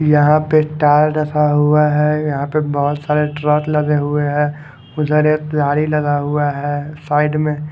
यहाँ पे टायर ढसा हुआ है यहाँ पे बहोत सारे ट्रक लगे हुए है उधर एक प्लाई लगा हुआ है साईड में--